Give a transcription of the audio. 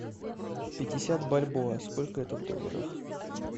пятьдесят бальбоа сколько это в долларах